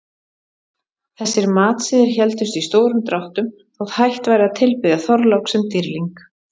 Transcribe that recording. Þessir matsiðir héldust í stórum dráttum þótt hætt væri að tilbiðja Þorlák sem dýrling.